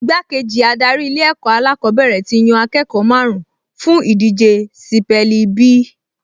Igbákejì adarí Ilé-ẹ̀kọ́ alákọ̀ọ́bẹ̀rẹ̀ ti yan akẹ́kọ̀ọ́ márùn-ún fún ìdíje sípẹ́ẹ̀lì bí